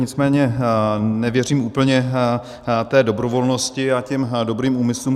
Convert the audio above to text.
Nicméně nevěřím úplně té dobrovolnosti a těm dobrým úmyslům.